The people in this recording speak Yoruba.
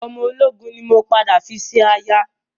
Ọmọ ológun ni mo padà fi ṣe aya